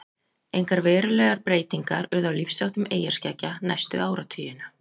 Engar verulegar breytinga urðu á lífsháttum eyjarskeggja næstu áratugina.